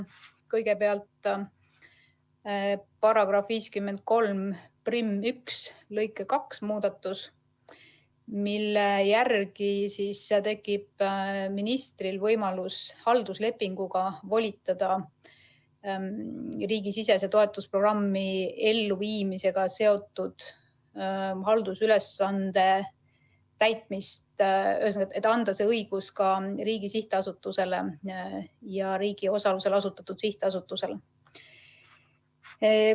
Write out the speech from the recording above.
Kõigepealt, § 531 lõike 2 muudatusega tekib ministril võimalus halduslepinguga volitada riigisisese toetusprogrammi elluviimisega seotud haldusülesande täitmist, et anda see õigus ka riigi sihtasutusele ja riigi osalusel asutatud sihtasutusele.